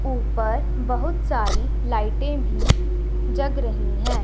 ऊपर बहुत सारी लाइटें भी जग रही हैं।